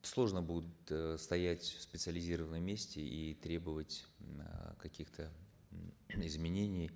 сложно будет э стоять в специализированном месте и требовать э каких то изменений